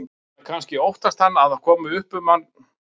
Eða kannski óttast hann að upp um hann komist og vill verða fyrri til.